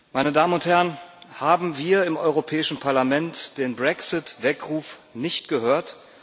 Meine Damen und Herren, haben wir im Europäischen Parlament den Brexit-Weckruf nicht gehört?